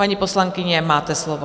Paní poslankyně, máte slovo.